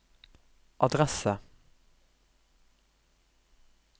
adresse